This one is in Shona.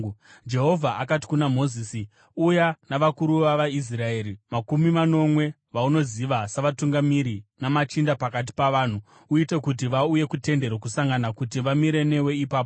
Jehovha akati kuna Mozisi, uya navakuru vavaIsraeri makumi manomwe vaunoziva savatungamiri namachinda pakati pavanhu. Uite kuti vauye kuTende Rokusangana, kuti vamire newe ipapo.